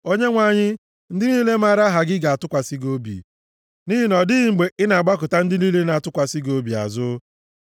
Onyenwe anyị, ndị niile maara aha gị ga-atụkwasị gị obi, nʼihi na ọ dịghị mgbe ị na-agbakụta ndị niile na-atụkwasị gị obi azụ.